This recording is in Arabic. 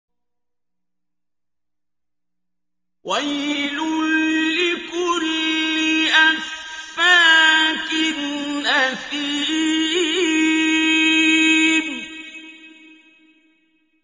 وَيْلٌ لِّكُلِّ أَفَّاكٍ أَثِيمٍ